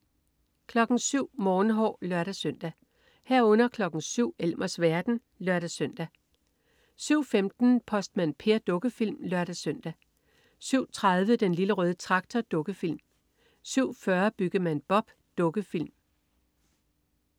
07.00 Morgenhår (lør-søn) 07.00 Elmers verden (lør-søn) 07.15 Postmand Per. Dukkefilm (lør-søn) 07.30 Den Lille Røde Traktor. Dukkefilm 07.40 Byggemand Bob. Dukkefilm